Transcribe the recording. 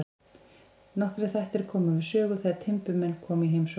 Nokkrir þættir koma við sögu þegar timburmenn koma í heimsókn.